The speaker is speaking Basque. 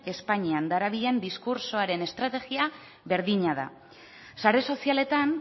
espainian darabilen diskurtsoaren estrategia berdina da sare sozialetan